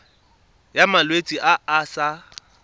ya malwetse a a sa